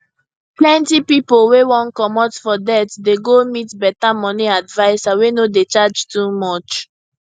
plenty pipo wey wan comot for debt dey go meet better money adviser wey no dey charge too much